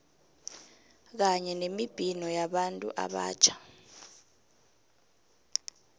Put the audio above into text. kanye nemibhino yabantu abatjha